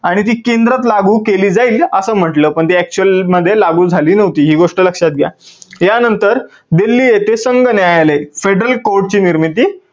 आणि ती केंद्रात लागू केली जाईल असं म्हटलं पण ते actual मध्ये लागू झाली नव्हती, ही गोष्ट लक्षात घ्या. या नंतर दिल्ली येथे संघ न्यायालय federal court ची निर्मिती